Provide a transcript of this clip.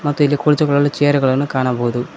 ಮತ್ತು ಇಲ್ಲಿ ಕುಳಿತುಕೊಳ್ಳಲು ಚೇರ್ ಗಳನ್ನು ಕಾಣಬಹುದು.